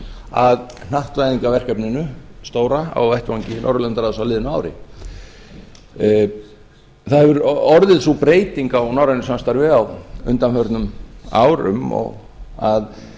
að hnattvæðingarverkefninu stóra á vettvangi norðurlandaráðs á liðnu ári það hefur orðið sú breyting á norrænu samstarfi á undanförnum árum að